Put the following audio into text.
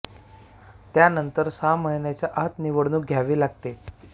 त्या नंतर सहा महिन्यांच्या आत निवडणूक घ्यावी लागते